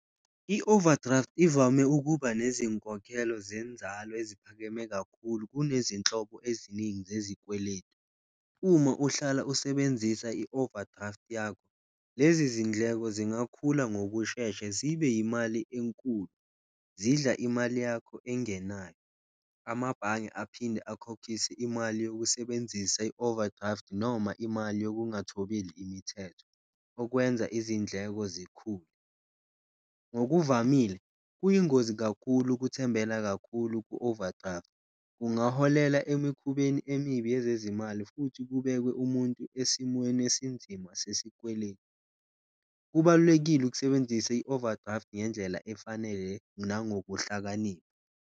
I-overdraft ivame ukuba nezinkolelo zenzalo eziphakeme kakhulu kunezinhlobo eziningi zezikweletu uma uhlala usebenzisa i-overdraft yakho, lezi zindleko zingakhula ngokushesha zibe yimali enkulu, zidla imali yakho engenayo. Amabhange aphinde akhokhise imali yokusebenzisa i-overdraft noma imali yokungathobeli imithetho okwenza izindleko zikhule, ngokuvamile kuyingozi kakhulu ukuthembela kakhulu ku-overdraft kungaholela emikhubeni emibi yezezimali futhi kubekwe umuntu esimweni esinzima sesikweletu. Kubalulekile ukusebenzisa i-overdraft ngendlela efanele nangokuhlakanipha.